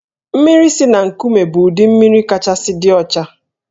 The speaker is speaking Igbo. Mmiri si na nkụme bụ ụdị mmiri kachasị dị ọcha